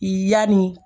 Yanni